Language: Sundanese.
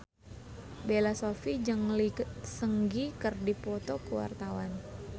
Bella Shofie jeung Lee Seung Gi keur dipoto ku wartawan